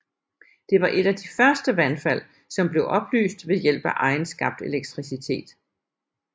Den var et af de første vandfald som blev oplyst ved hjælp af egenskabt elektricitet